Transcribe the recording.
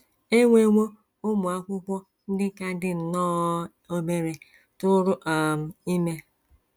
E nwewo ụmụ akwụkwọ ndị ka dị nnọọ obere tụụrụ um ime. ”